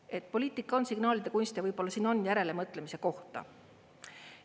Et poliitika on signaalide kunst ja võib-olla siin on järelemõtlemise kohta.